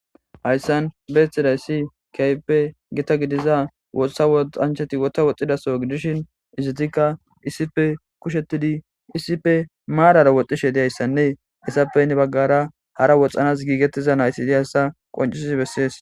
Hayssan betizayisi kehippe giita gidiza wotha woxxanchati wotha woxxiza soho gidishin ezetika issippe kushetidi issipe marara woxxishe dizayisane izetappe heni bagara hara woxxanas gigetishe diza nayit dizaysa qonccisishe besses.